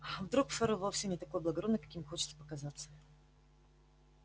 вдруг ферл вовсе не такой благородный каким хочет показаться